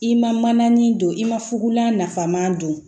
I ma mananin don i ma fukolan nafaman don